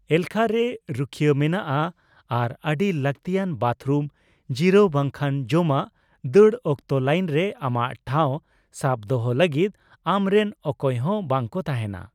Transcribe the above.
ᱮᱞᱠᱷᱟ ᱨᱮ ᱨᱩᱠᱷᱭᱟᱹ ᱢᱮᱱᱟᱜᱼᱟ ᱟᱨ ᱟᱹᱰᱤ ᱞᱟᱹᱠᱛᱤᱭᱟᱱ ᱵᱟᱛᱷᱨᱩᱢ ᱡᱤᱨᱟᱹᱣ ᱵᱟᱝᱠᱷᱟᱱ ᱡᱚᱢᱟᱜ ᱫᱟᱹᱲ ᱚᱠᱛᱚ ᱞᱟᱹᱭᱤᱱᱨᱮ ᱟᱢᱟᱜ ᱴᱷᱟᱣ ᱥᱟᱵ ᱫᱚᱦᱚ ᱞᱟᱹᱜᱤᱫ ᱟᱢ ᱨᱮᱱ ᱚᱠᱚᱭ ᱦᱚᱸ ᱵᱟᱝ ᱠᱚ ᱛᱟᱦᱮᱱᱟ ᱾